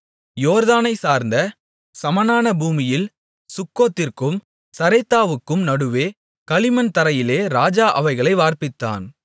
யோர்தானைச்சார்ந்த சமனான பூமியில் சுக்கோத்திற்கும் சரேத்தாவுக்கும் நடுவே களிமண் தரையிலே ராஜா அவைகளை வார்ப்பித்தான்